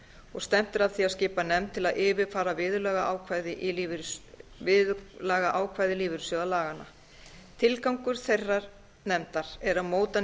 og stefnt er að því að skipa nefnd til að yfirfara viðurlagaákvæði lífeyrissjóðalaganna tilgangur þeirrar nefndar er að móta